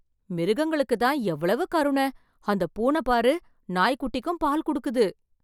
மிருகங்களுக்கு தான் எவ்வளவு கருணை அந்த பூனை பாரு நாய் குட்டிக்கும் பால் குடுக்குது!